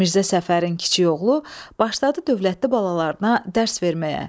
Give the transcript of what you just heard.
Mirzə Səfərin kiçik oğlu başladı dövlətli balalarına dərs verməyə.